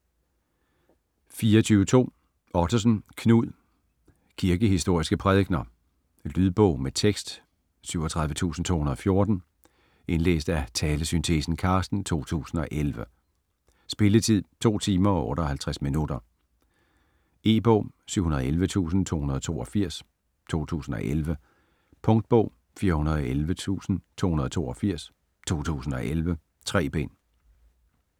24.2 Ottosen, Knud: Kirkehistoriske prædikener Lydbog med tekst 37214 Indlæst af Talesyntesen Carsten, 2011. Spilletid: 2 timer, 58 minutter. E-bog 711282 2011. Punktbog 411282 2011. 3 bind.